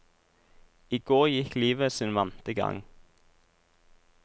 I går gikk livet sin vante gang.